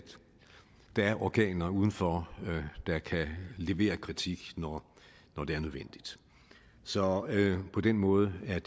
der er organer udenfor der kan levere kritik når det er nødvendigt så på den måde er